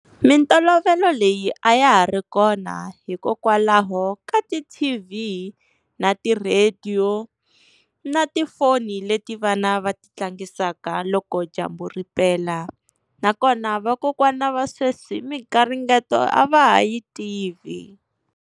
Mintolovelo leyi a ya ha ri kona hikokwalaho ka ti-T_V na ti-radio na tifoni leti vana va ti tlangisaka, loko dyambu ri pela. Nakona vakokwana va sweswi migaringeto a va ha yi tivi.